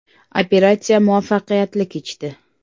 “Operatsiya muvaffaqiyatli kechdi.